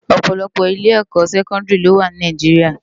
Òpòlòpò ilé èkò sèkòndiri ló wá ni Náijiriá